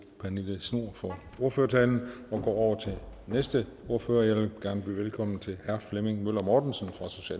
pernille schnoor for ordførertalen og går over til næste ordfører jeg vil gerne byde velkommen til herre flemming møller mortensen